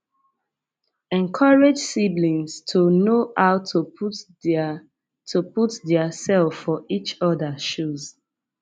encourage siblings to know how to put their to put their self for each oda shoes